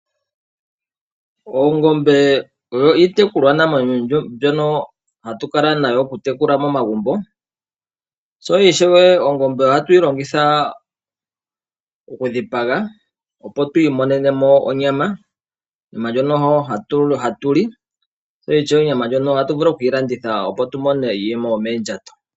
Oongombe odho iitekulwanamwenyo mbyono hatu kala nayo okutekula momagumbo . Sho ishewe ongombe ohatu yi longitha okudhipaga opo twiimonenemo onyama, onyama ndjono hatu li , sho ishewe onyama ndjono ohatu vulu okuyi landitha opo twiimonenemo iiyemo yomoondjato.